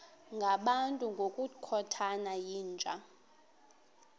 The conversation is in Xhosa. ngabantu ngokukhothana yinja